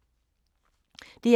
DR2